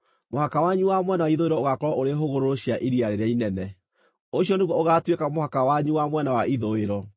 “ ‘Mũhaka wanyu wa mwena wa ithũĩro ũgaakorwo ũrĩ hũgũrũrũ cia Iria rĩrĩa Inene. Ũcio nĩguo ũgaatuĩka mũhaka wanyu wa mwena wa ithũĩro.